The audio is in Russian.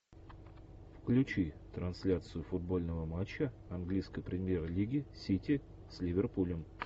включи трансляцию футбольного матча английской премьер лиги сити с ливерпулем